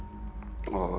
og